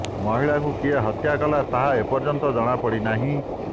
ମହିଳାଙ୍କୁ କିଏ ହତ୍ୟା କଲା ତାହା ଏପର୍ଯ୍ୟନ୍ତ ଜଣାପଡି ନାହିଁ